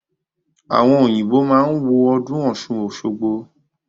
Àwọn Òyìnbó má wá ń wo ọdún Ọ̀ṣun-Òṣogbo